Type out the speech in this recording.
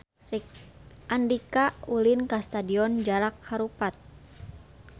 Andika ulin ka Stadion Jalak Harupat